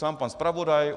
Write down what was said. Sám pan zpravodaj?